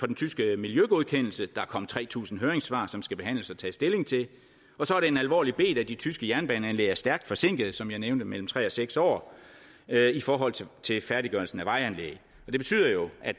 den tyske miljøgodkendelse der er kommet tre tusind høringssvar som skal behandles og tage stilling til så er det en alvorlig bet at de tyske jernbaneanlæg er stærkt forsinkede som jeg nævnte mellem tre og seks år i forhold til til færdiggørelsen af vejanlægget det betyder jo at